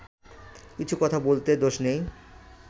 কিছু কথা বলতে দোষ নেই